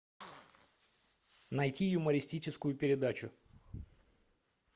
найти юмористическую передачу